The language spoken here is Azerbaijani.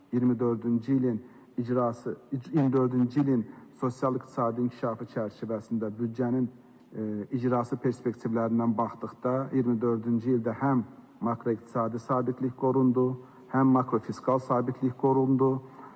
2024-cü ilin icrası, 2024-cü ilin sosial-iqtisadi inkişafı çərçivəsində büdcənin icrası perspektivlərindən baxdıqda, 2024-cü ildə həm makroiqtisadi sabitlik qorundu, həm makrofiskal sabitlik qorundu.